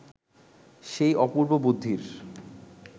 সেই অপূর্ব বুদ্ধির